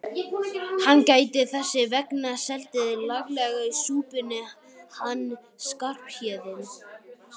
Hann gæti þess vegna setið laglega í súpunni hann Skarphéðinn.